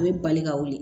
A bɛ bali ka wuli